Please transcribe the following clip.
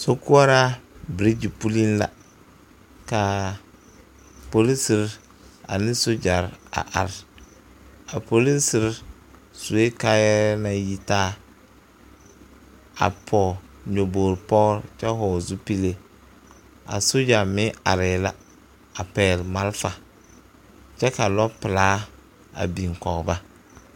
Sokoɔraa birigyi pulliŋ la ka polisiri ane sogyare a are a polisiri sue kaayare naŋ yitaa a pɔge nyɔbogi pɔgre kyɛ vɔgle zupili a sogya meŋ arɛɛ la a pɛgle marefa kyɛ ka lɔpelaa a biŋ kɔgeba.